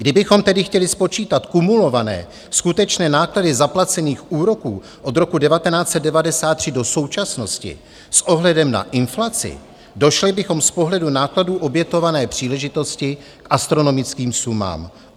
Kdybychom tedy chtěli spočítat kumulované skutečné náklady zaplacených úroků od roku 1993 do současnosti s ohledem na inflaci, došli bychom z pohledu nákladů obětované příležitosti k astronomickým sumám.